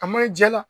A man ɲi ja la